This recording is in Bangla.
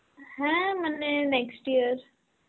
হ্যাঁ মানে next year.